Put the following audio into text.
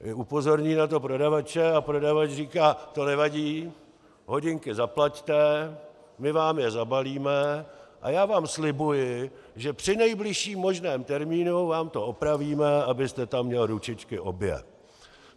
Upozorní na to prodavače a prodavač říká: "To nevadí, hodinky zaplaťte, my vám je zabalíme a já vám slibuji, že při nejbližším možném termínu vám to opravíme, abyste tam měl ručičky obě."